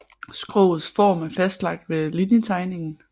Skrogets form er fastlagt ved linjetegningen